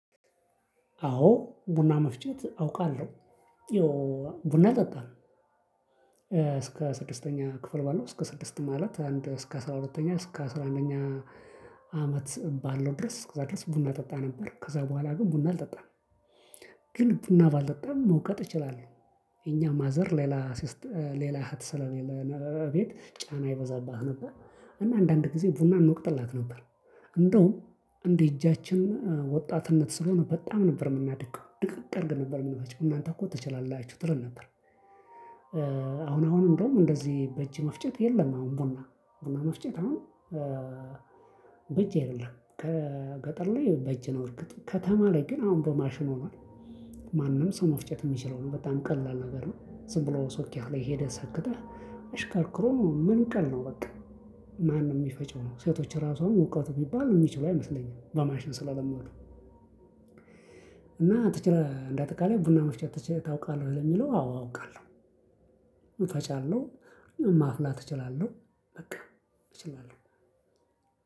አዎ ቡና መፍጨት አውቃለሁ። ቡና ጠጣን። እስከ ስድስተኛ ክፍል ባለው እስከ ስድስት ማለት አንድ እስከ አስራ አራተኛ እስከ አስራ አንደኛ አመት ባለው ድረስ ከዛ ድረስ ቡና ጠጣ ነበር። ከዛ በኋላ ግን ቡና አልጠጣም። ግን ቡና ባልጠጣም መውቀጥ እችላለሁ። እኛ ማዘር ሌላ ሌላ እህት ስለሌለ ቤት ጫና ይበዛብት ነበር። እና አንዳንድ ጊዜ ቡና እንወቅጥላት ነበር። እንደውም እንዴ እጃችን ወጣትነት ስለሆነ በጣም ነበር የምናደቀው ድቅቅ አድርገን ነበር የምናድግ እናንተ እኮ ትችላላችሁ ትለን ነበር። አሁን አሁን እንደውም እንደዚህ በእጅ መፍጨት የለም። አሁን ቡና ቡና መፍጨት አሁን በእጅ አይደለም ከገጠር ላይ በእጅ ነው። እርግጥ ከተማ ላይ ግን አሁን በማሽን ሆኗል። ማንም ሰው መፍጨት የሚችለው ነው በጣም ቀላል ነገር ነው። ስንብለው ሶኬት ላይ ሄደህ ሰክተህ እሽከርክሮም ሙሉ ቀን ነው። በቃ ማንም የሚፈጨው ነው ሴቶች ራሱ አሁን ውቀት ቢባል የሚችለው አይመስለኝም በማሽን ስለለመዱ። እና እንደአጠቃላይ ቡና መፍጨት ታውቃለህ ለሚለው አዎ አውቃለሁ። እፈጫለሁ ማፍላት እችላለሁ በቃ እችላለሁ።